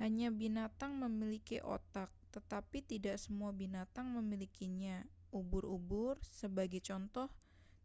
hanya binatang memiliki otak tetapi tidak semua binatang memilikinya; ubur-ubur sebagai contoh